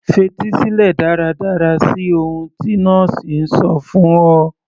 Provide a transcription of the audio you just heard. Fetí sílẹ̀ dáradára sí ohun tí nọ́ọ̀sì ń sọ fún ọ